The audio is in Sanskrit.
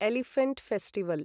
elephant festival